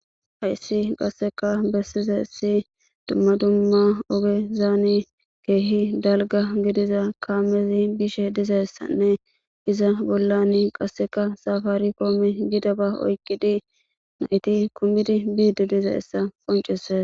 hayssi qasseka bessize si dumma dumma oge zaani keehi dalga gidiza kaamezi bishe dizayssanne iza bollan qasseka safaari kooome gida ba oykqidi nayti kumidi biidi diza essa qoncise